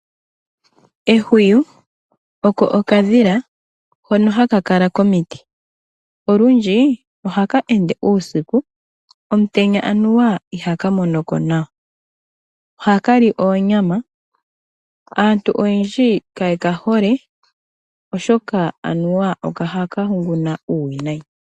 Ehwiyu oko okadhila hono haka kala komiti, olundji ohaka ende uusiku omutenya aniwa ihaka monoko nawa , oha kali oonyama. Aantu oyendji kaye kahole oshoka aniwa ohaka huguna uuwinayi.